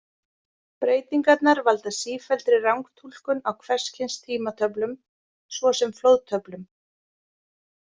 Breytingarnar valda sífelldri rangtúlkun á hvers kyns tímatöflum svo sem flóðtöflum.